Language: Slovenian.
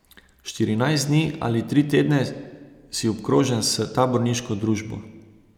Štirinajst dni ali tri tedne si obkrožen s taborniško družbo.